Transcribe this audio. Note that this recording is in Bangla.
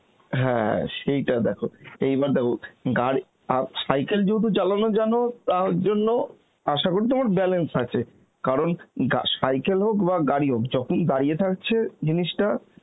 হ্যাঁ সেইটা দেখো, এইবার দেখো গাড়ি আ~ cycle যেহেতু চালানো জানো তার জন্য আসাকরি তোমার balance আছে কারণ গা~ cycle হোক বা গাড়ি হোক, যখন দাড়িয়ে থাকছে জিনিষটা